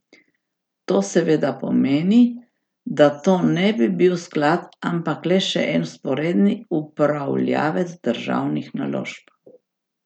To seveda pomeni, da to ne bi bil sklad, ampak le še en vzporedni upravljavec državnih naložb.